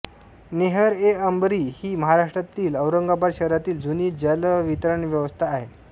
नेहरएअंबरी ही महाराष्ट्रातील औरंगाबाद शहरामधील जुनी जलवितरणव्यवस्था आहे